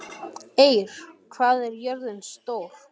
Eir, hvað er jörðin stór?